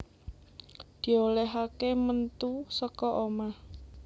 Di olèhaké mentu saka omah